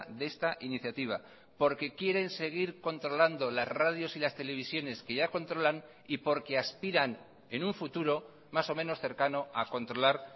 de esta iniciativa porque quieren seguir controlando las radios y las televisiones que ya controlan y porque aspiran en un futuro más o menos cercano a controlar